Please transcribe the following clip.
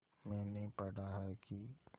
मैंने पढ़ा है कि